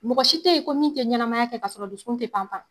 Mɔgɔ si te ye ko min te ɲɛnamaya kɛ kasɔrɔ dusukun te panpan.